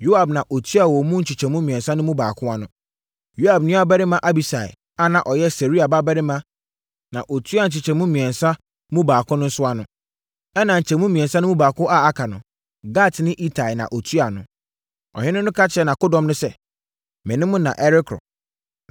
Yoab na ɔtuaa wɔn mu nkyɛmu mmiɛnsa mu baako ano. Yoab nuabarima Abisai a na ɔyɛ Seruia babarima na ɔtuaa nkyɛmu mmiɛnsa mu baako nso ano. Ɛnna nkyɛmu mmiɛnsa mu baako a aka no, Gatni Itai na ɔtuaa ano. Ɔhene no ka kyerɛɛ nʼakodɔm no sɛ, “Me ne mo na ɛrekɔ.”